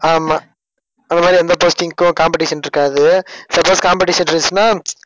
ஆமா. அந்த மாதிரி எந்த posting க்கும் competition இருக்காது. suppose competition இருந்துச்சுன்னா